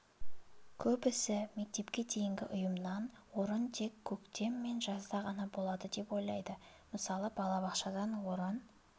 көбісі мектепке дейінгі ұйымнан орын тек көктем мен жазда ғана болады деп ойлайды мысалы балабақшадан орын